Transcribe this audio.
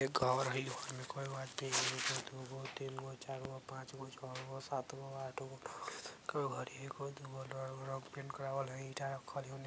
एक घर हई | होने कोई बात नहीं एगो दूगो तीनगो चारगो पाँचगो छौगो सातगो आठगो नौगो दसगो घर हई | एगो दूगो रंग-रंग पेंट करावल हई ईटा रखल हई ओने |